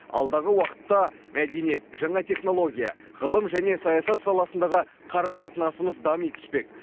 алдағы уақытта мәдениет жаңа технология ғылым және саясат саласындағы қарым қатынасымыз дами түспек